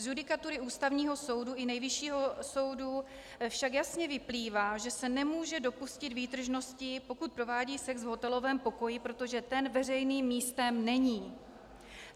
Z judikatury Ústavního soudu i Nejvyššího soudu však jasně vyplývá, že se nemůže dopustit výtržnosti, pokud provádí sex v hotelovém pokoji, protože ten veřejným místem není.